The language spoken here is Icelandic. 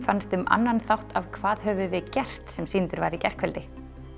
fannst um annan þátt af hvað höfum við gert sem sýndur var í gærkvöldi